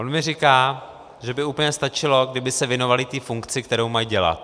On mi říká, že by úplně stačilo, kdyby se věnovali té funkci, kterou mají dělat.